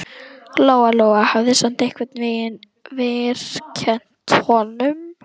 Lóa-Lóa hafði samt einhvern veginn vorkennt honum.